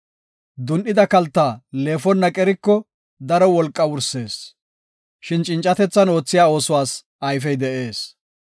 Dun7ida kalta leefonna qeriko daro wolqaa wursees; shin cincatethan oothiya oosuwas ayfey de7ees.